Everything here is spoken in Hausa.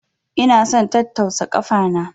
Ina son tattausa kafa na.